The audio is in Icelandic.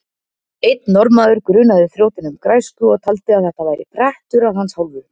Einn norðanmaður grunaði þrjótinn um græsku og taldi að þetta væri prettur af hans hálfu.